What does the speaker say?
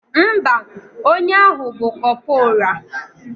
Ḿbà, onye ahu bu corporal.